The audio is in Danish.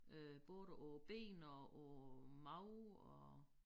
Øh både på ben og på mave og